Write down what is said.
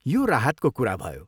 यो राहतको कुरा भयो।